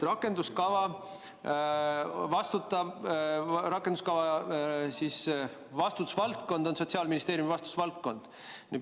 Rakenduskava on Sotsiaalministeeriumi vastutusvaldkond.